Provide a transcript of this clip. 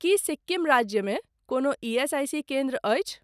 कि सिक्किम राज्यमे कोनो ईएसआईसी केन्द्र अछि ?